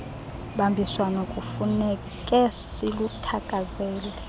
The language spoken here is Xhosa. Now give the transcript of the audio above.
bambiswano kufuneke siluthakazele